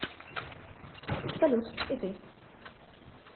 салют и ты